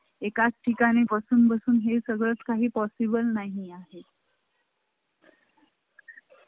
एकाच ठिकाणी बसून बसून हे सगळं काही possible नाही आहे.